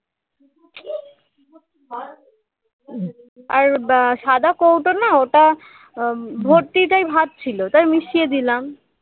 আর আহ সাদা কৌটো না ওটা আহ ভর্তি তাই ভাত ছিল তাই মিশিয়ে দিলাম